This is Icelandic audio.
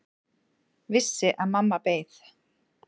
Vissi að mamma beið.